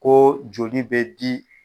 Ko joli bɛ di.